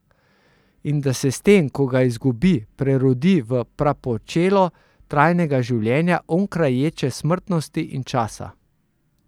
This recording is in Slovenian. In da se s tem, ko ga izgubi, prerodi v prapočelo trajnega življenja, onkraj ječe smrtnosti in časa.